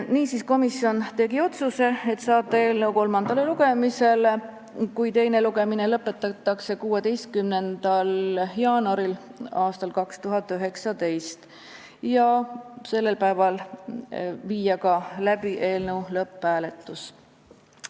Niisiis, komisjon tegi otsuse saata eelnõu kolmandale lugemisele, kui teine lugemine lõpetatakse, 16. jaanuariks aastal 2019 ja sellel päeval viia läbi ka eelnõu lõpphääletus.